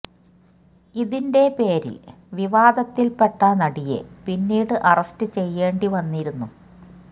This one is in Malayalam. ഇതിന്റെ പേരില് വിവാദത്തില് പെട്ട നടിയെ പിന്നീട് അറസ്റ്റ് ചെയ്യേണ്ടി വന്നിരുന്നു